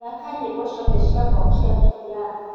thaka nyĩmbo cĩothe cĩa pop cĩa juliani